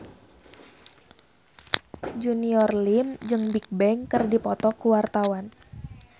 Junior Liem jeung Bigbang keur dipoto ku wartawan